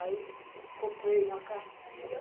Aí comprei uma cartilha.